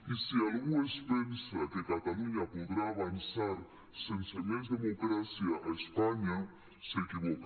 i si algú es pensa que catalunya podrà avançar sense més democràcia a espanya s’equivoca